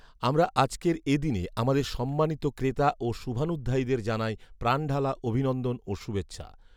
আমরা আজকের এ দিনে আমাদের সম্মানিত ক্রেতা ও শুভানুধ্যায়ীদের জানাই প্রাণঢালা অভিনন্দন ও শুভেচ্ছা